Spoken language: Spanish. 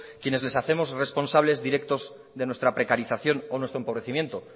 quienes le hacemos responsables directos de nuestra precarización o nuestro empobrecimiento